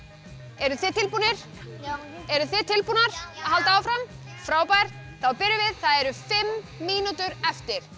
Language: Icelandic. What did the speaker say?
eruð þið tilbúnir já eruð þið tilbúnar að halda áfram já frábært þá byrjum við það eru fimm mínútur eftir